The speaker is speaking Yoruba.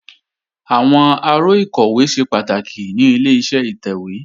Àwọn aró ìkọ̀wé ṣe pàtàkì ní Ileṣẹ́ ìtẹ̀wé